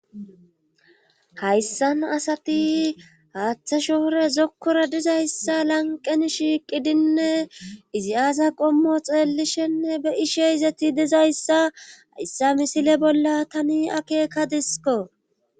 hayssan asati haaththe shoore zokkora dizayssa lanqen shiiqidinne izi aasa qommo xeellishenne be ishe izeti dizayssa ayssa misile bolla tani akeeka disiko